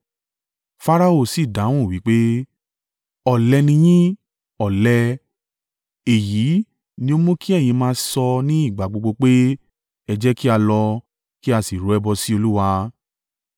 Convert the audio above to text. Farao sí dáhùn wí pé, “Ọ̀lẹ ni yín, ọ̀lẹ! Èyí ni ó mú kí ẹ̀yin máa sọ ní ìgbà gbogbo pé, ‘Ẹ jẹ́ kí a lọ, kí a sì rú ẹbọ sí Olúwa.’